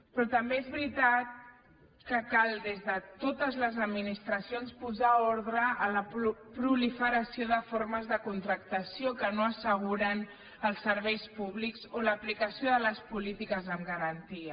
però també és veritat que cal des de totes les administracions posar ordre a la proliferació de formes de contractació que no asseguren els serveis públics o l’aplicació de les polítiques amb garantia